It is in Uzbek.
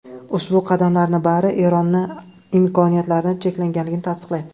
Ushbu qadamlarning bari Eronning imkoniyatlari cheklanganini tasdiqlaydi.